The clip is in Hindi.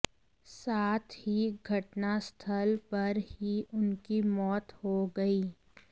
साथ ही घटनास्थल पर ही उनकी मौत हो गई